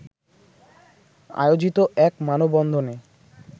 আয়োজিত এক মানববন্ধনে